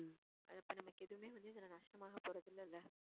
அது இப்போ நமக்கு எதுவுமே வந்து இதுல நஷ்டம் ஆக போறது இல்லல்ல